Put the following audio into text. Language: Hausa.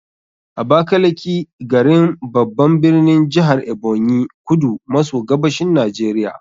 Abakaliki, garin, babban birnin jihar Ebonyi, kudu maso gabashin Najeriya.